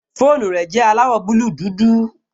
Fóònù rẹ̀ jẹ́ aláwọ̀ búúlù dúdú